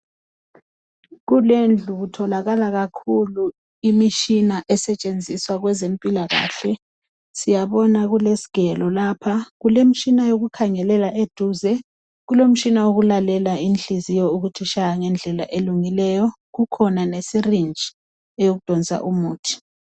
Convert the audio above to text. Kulendlu kutholakala kakhulu imitshina esetshenziswa kwezempilakahle, siyabona kulesgelo lapha kulemtshina yokukhangelela eduze kulomtshina wokulalela inhliziyo ukuthi ishaya ngendlela elungileyo. Kukhona lesirinji eyokudonsa umuthi.